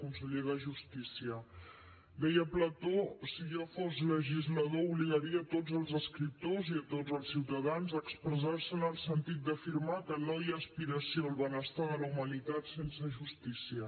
conseller de justícia deia plató si jo fos legislador obligaria tots els escriptors i tots els ciutadans a expressar se en el sentit d’afirmar que no hi ha aspiració al benestar de la humanitat sense justícia